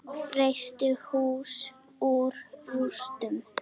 Reisti hús úr rústum.